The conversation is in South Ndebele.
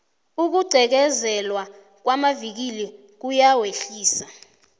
ukugqekezelwa kwamavikili kuyawehlisa